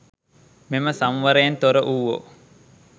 මෙම සංවරයෙන් තොර වුවෝ